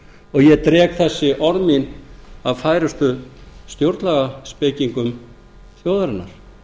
og ég dreg þessi orð mín af færustu stjórnlagaspekingum þjóðarinnar